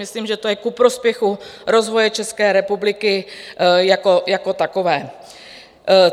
Myslím, že to je ku prospěchu rozvoje České republiky jako takové.